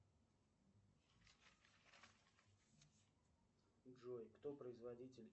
джой кто производитель